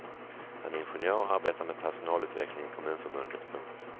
Han är ingenjör och arbetar med personalutveckling i kommunförbundet. punkt